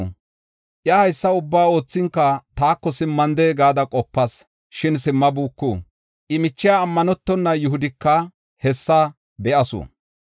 Iya haysa ubbaa oothinka taako simmande gada qopas, shin simmabuuku. I michiya, ammanetona Yihudika hessa be7asu.